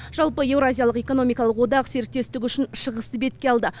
жалпы еуразиялық экономикалық одақ серіктестік үшін шығысты бетке алды